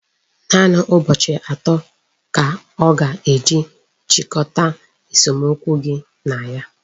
Naanị ụbọchị atọ ka a ga-eji chịkọta esomokwu gị na ya.